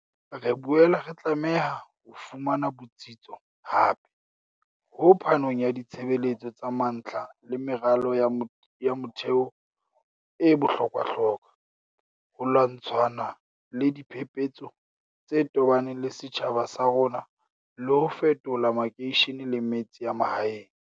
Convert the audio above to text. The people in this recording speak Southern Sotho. Re boela re tlameha ho fumana botsitso hape ho phanong ya ditshebeletso tsa mantlha le meralo ya motheo e bohlokwahlokwa, ho lwantshana le diphepetso tse tobaneng le setjhaba sa rona le ho fetola makeishene le metse ya mahaeng.